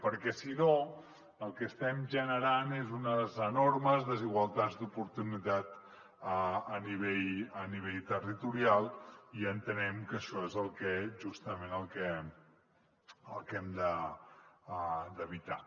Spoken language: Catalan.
perquè si no el que estem generant són unes enormes desigualtats d’oportunitat a nivell territorial i entenem que això és justament el que hem d’evitar